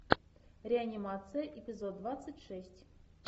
реанимация эпизод двадцать шесть